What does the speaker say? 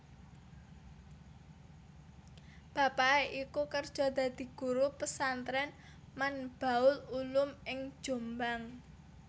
Bapake iku kerja dadi Guru Pesantren Manbaul Ulum ing Jombang